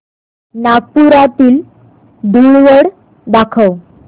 नागपुरातील धूलवड दाखव